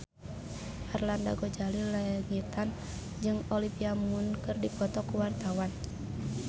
Arlanda Ghazali Langitan jeung Olivia Munn keur dipoto ku wartawan